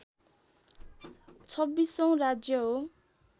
२६ औँ राज्य हो